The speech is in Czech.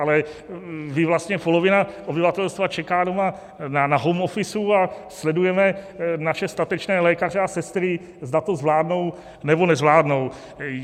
Ale vy vlastně, polovina obyvatelstva čeká doma na home office a sledujeme naše statečné lékaře a sestry, zda to zvládnou, nebo nezvládnou.